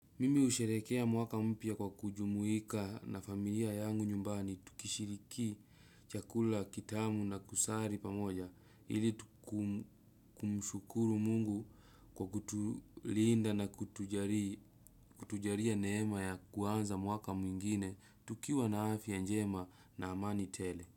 Mimi husherekea mwaka mpya kwa kujumuika na familia yangu nyumbani tukishiriki chakula kitamu na kusali pamoja ili kumshukuru mungu kwa kutulinda na kutujalia neema ya kuanza mwaka mwingine tukiwa na afya njema na amani tele.